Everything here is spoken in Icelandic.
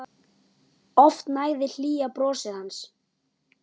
Oft nægði hlýja brosið hans.